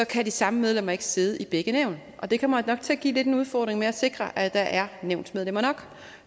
kan de samme medlemmer ikke sidde i begge nævn og det kommer nok til at give en udfordring med at sikre at der er nævnsmedlemmer nok